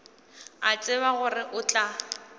a tseba gore o tla